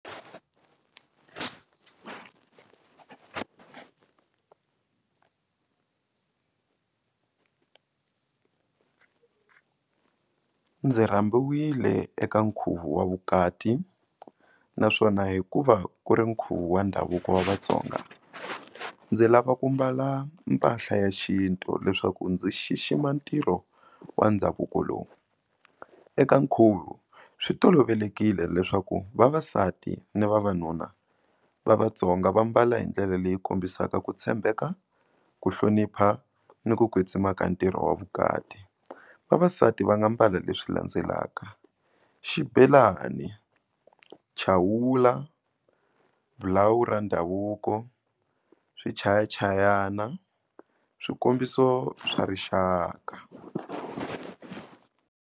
Ndzi rhambiwile eka nkhuvo wa vukati naswona hikuva ku ri nkhuvo wa ndhavuko wa Vatsonga ndzi lava ku mbala mpahla ya xintu leswaku ndzi xixima ntirho wa ndhavuko lowu. Eka nkhuvo swi tolovelekile leswaku vavasati na vavanuna va Vatsonga va mbala hi ndlela leyi kombisaka ku tshembeka, ku hlonipha ni ku kwetsima ka ntirho wa vukati. Vavasati va nga mbala leswi landzelaka xibelani, chawula, ra ndhavuko, swichayachayana, swikombiso swa rixaka.